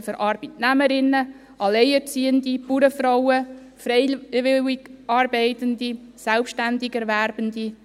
Also für Arbeitnehmerinnen, Alleinerziehende, Bauernfrauen, freiwillig Arbeitende, Selbstständigerwerbende.